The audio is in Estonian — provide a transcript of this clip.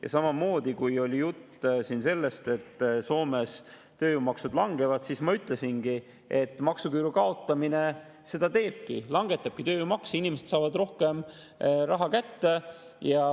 Ja samamoodi, kui oli jutt sellest, et Soomes tööjõumaksud langevad, siis ma ütlesin, et maksuküüru kaotamine seda teebki, langetab tööjõumakse, inimesed saavad rohkem raha kätte.